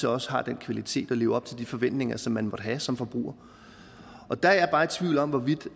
også har en kvalitet der lever op til de forventninger som man måtte have som forbruger og der er jeg bare i tvivl om hvorvidt